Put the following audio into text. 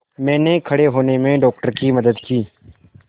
मैंने खड़े होने में डॉक्टर की मदद की